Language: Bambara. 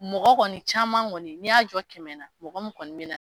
Mɔgɔ kɔni caman kɔni n'i y'a jɔ kɛmɛ na mɔgɔ min kɔni bɛ na.